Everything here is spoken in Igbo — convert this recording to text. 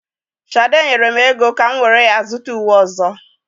Shade nyere m ego ka m jiri ya zụta uwe ọzọ.